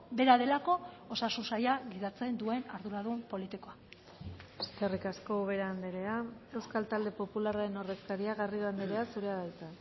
bera delako osasun saila gidatzen duen arduradun politikoa eskerrik asko ubera andrea euskal talde popularraren ordezkaria garrido andrea zurea da hitza